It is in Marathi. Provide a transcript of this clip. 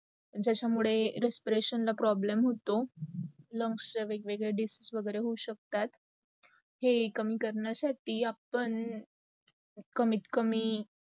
ज्याचा मुडे respiration problem होतो, lungs चा वेग- वेगडे disease होऊ शकतात. हे काम कारणा साठी आपण कमीत कमी